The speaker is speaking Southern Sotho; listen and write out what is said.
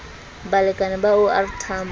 balekane ba o r tambo